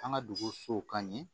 An ka dugusow ka ɲɛ